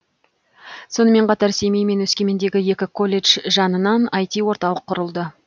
сонымен қатар семей мен өскемендегі екі колледж жанынан іт орталық құрылды